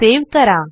save करा